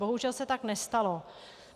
Bohužel se tak nestalo.